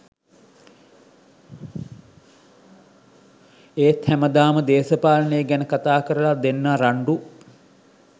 ඒත් හැමදාම දේශපාලනේ ගැන කතා කරල දෙන්න රන්ඩු